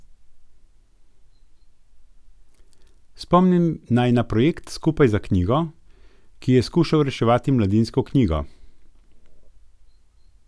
Spomnim naj na projekt Skupaj za knjigo, ki je skušal reševati Mladinsko knjigo.